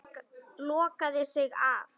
Lokaði sig af.